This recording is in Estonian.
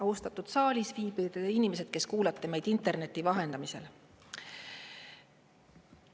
Austatud saalis viibivad inimesed, kes kuulate meid interneti vahendamisel!